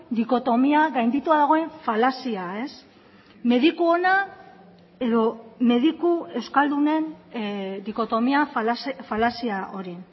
dikotomia gainditua dagoen falazia mediku ona edo mediku euskaldunen dikotomia falazia hori